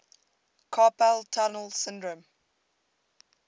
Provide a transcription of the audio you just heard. carpal tunnel syndrome